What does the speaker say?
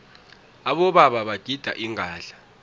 abobaba bagida ingadla